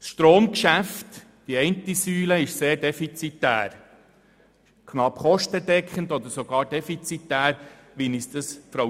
Das Stromgeschäft, die eine Säule, ist – wie uns Frau Thoma gestern erklärt hat – knapp kostendeckend oder sogar defizitär.